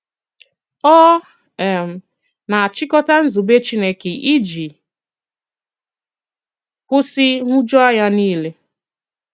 Ọ um na-àchikota nzùbè Chìnékè iji kwụsị nhụjuanya niile.